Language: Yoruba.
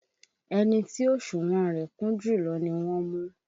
Ẹni tí òsùnwọ̀n rẹ̀ kún jùlọ ni wọ́n mú